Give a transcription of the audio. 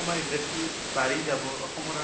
আমাৰ industry বাঢ়ি যাব অসমৰ